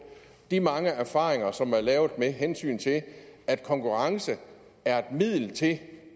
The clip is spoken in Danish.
de mange erfaringer som er gjort med hensyn til at konkurrence er et middel til